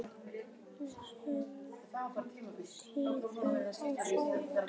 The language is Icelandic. Vígsteinn, kveiktu á sjónvarpinu.